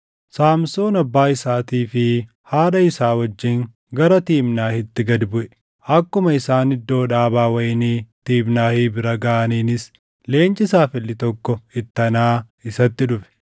Saamsoon abbaa isaatii fi haadha isaa wajjin gara Tiimnaahitti gad buʼe. Akkuma isaan iddoo dhaabaa wayinii Tiimnaahi bira gaʼaniinis leenci saafelli tokko ittanaa isatti dhufe.